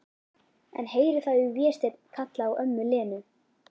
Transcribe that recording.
En heyri þá Véstein kalla á ömmu Lenu.